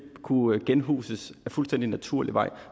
kunne genhuses ad fuldstændig naturlig vej